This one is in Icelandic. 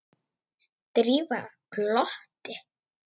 Drífa glotti.